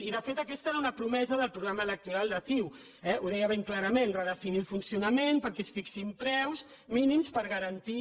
i de fet aquesta era una promesa del programa electoral de ciu eh ho deia ben clarament redefinir el funcionament perquè es fixin preus mínims per garantir